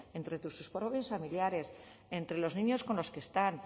entre sus propios familiares entre los niños con los que están